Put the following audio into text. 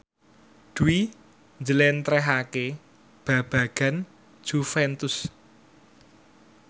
Dwi njlentrehake babagan Juventus